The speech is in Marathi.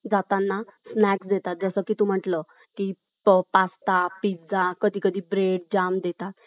जातं स्नॅक्स देतात, जस काही तू म्हणाल कि पास्ता , पिझ्झा कधी कधी जॅम ब्रेड देतात .